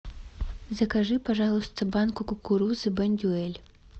закажи пожалуйста банку кукурузы бондюэль